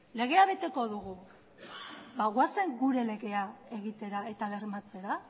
legea beteko dugu goazen gure legea egitera eta bermatzera